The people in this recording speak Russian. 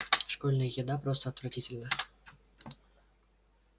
школьная еда просто отвратительна